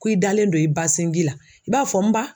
Ko i dalen do i ba sinji la i b'a fɔ n ba